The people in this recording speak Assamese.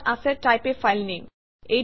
ইয়াত আছে টাইপ a ফাইল নামে